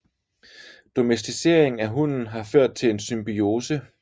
Domesticering af hunden har ført til en symbiose